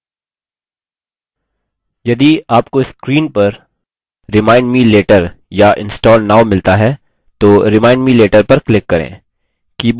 यदि आपको screen पर remind me later या install now मिलता है तो remind me later पर click करें